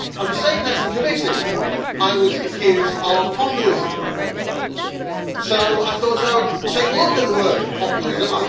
For saying that in committee, I was accused of populism, so I thought I would take a look at the word populism'.